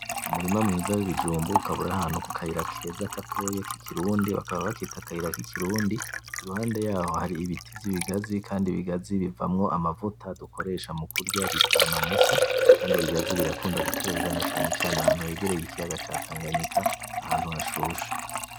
Umurima mwiza w'ibijumbu ukaba uri ahantu kukayira keza gatoyi k'ikirundi, bakaba bakita akayira k'ikirundi iruhande yaho haribiti vy'ikigazi, kandi ibigazi bivamwo amavuta dukoresha mu kurya bita amamesa. Kandi ibigazi birakunda guterwa cane cane ahantu hegereye ikiyaga ca tanganyika, ahantu hashushe.